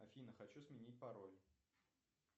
афина хочу сменить пароль